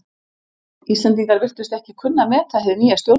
Íslendingar virtust ekki kunna að meta hið nýja stjórnarfar.